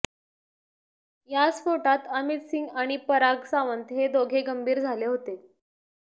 या स्फोटात अमित सिंग आणि पराग सावंत हे दोघे गंभीर झाले होते